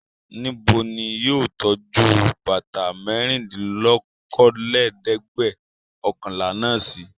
Níbo ni yóò tọ́jú bàtà mẹ́rìndínlókòólẹ́ẹ̀dẹ́gbẹ̀ọ̀kànlá náà sí?